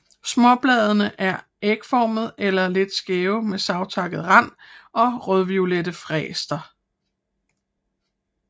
Småbladene er ægformede eller lidt skæve med savtakket rand og rødviolette fæster